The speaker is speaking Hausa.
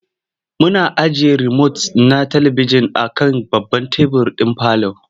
Muna ajiye romot ɗin talibijin a kan babban tebur ɗin parlour.